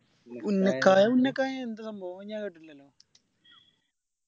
ഉന്നക്കായി ഉന്നക്കായ് എന്താ സംഭവം അത് ഞാൻ കേട്ടിട്ടില്ലല്ലോ